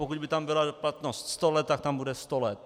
Pokud by tam byla platnost sto let, tak tam bude sto let.